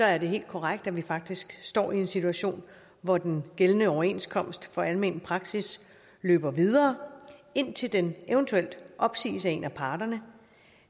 er det helt korrekt at vi faktisk står i en situation hvor den gældende overenskomst for almen praksis løber videre indtil den eventuelt opsiges af en af parterne